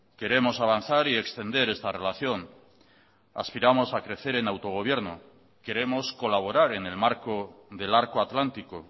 queremos avanzar y extender esta relación aspiramos a crecer en autogobierno queremos colaborar en el marco del arco atlántico